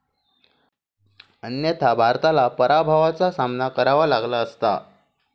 अन्यथा भारताला पराभवाचा सामना करावा लागला असता.